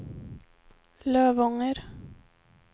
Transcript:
Lövånger